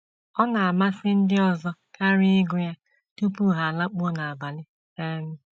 Ọ na - amasị ndị ọzọ karị ịgụ ya tupu ha alakpuo n’abalị um.